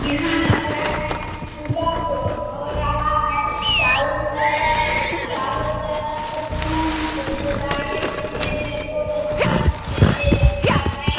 यहां लग रहा है कुछ पूजा हो हो रहा हैचारों तरफ चारों तरफ फूल से सजाए हुए है बहुत अच्छा दिखने मे लगता है।